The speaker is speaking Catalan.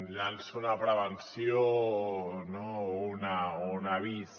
llanço una prevenció o un avís